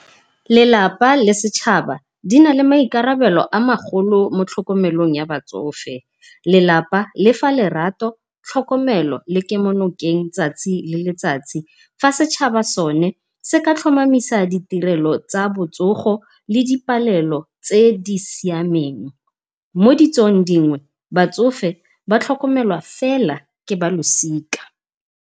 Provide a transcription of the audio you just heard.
Lelapa le setšhaba di na le maikarabelo a magolo mo tlhokomelong ya batsofe, lelapa lefa lerato tlhokomelo le kemonokeng 'tsatsi le letsatsi. Fa setšhaba sone se ka tlhomamisa ditirelo tsa botsogo le di palelo tse di siameng. Mo ditsong dingwe batsofe batlhokomelwa fela ke ba losika.